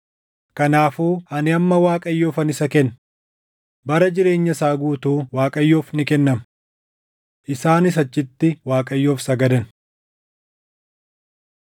Kanaafuu ani amma Waaqayyoofan isa kenna. Bara jireenya isaa guutuu Waaqayyoof ni kennama.” Isaanis achitti Waaqayyoof sagadan.